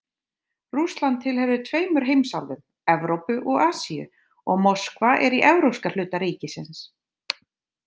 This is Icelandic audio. Rússland tilheyrir tveimur heimsálfum, Evrópu og Asíu, og Moskva er í evrópska hluta ríkisins.